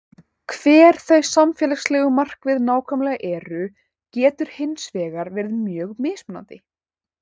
Hver þau samfélagslegu markmið nákvæmlega eru getur hins vegar verið mjög mismunandi.